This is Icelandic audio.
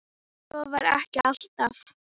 Svo var ekki alltaf.